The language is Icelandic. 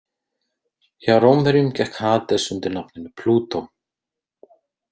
Hjá Rómverjum gekk Hades undir nafninu Plútó.